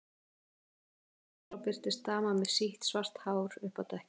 Í sömu andrá birtist dama með sítt, svart hár uppi á dekki.